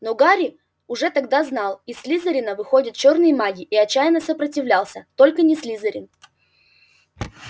но гарри уже тогда знал из слизерина выходят чёрные маги и отчаянно сопротивлялся только не слизерин